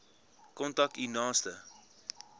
kontak u naaste